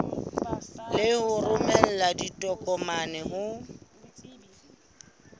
le ho romela ditokomane ho